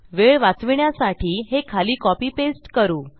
वेळ वाचविण्यासाठी हे खाली कॉपी पेस्ट करू